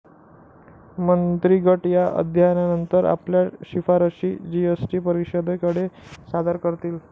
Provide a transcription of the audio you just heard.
मंत्रीगट या अध्ययनानंतर आपल्या शिफारसी जीएसटी परिषदेकडे सादर करतील.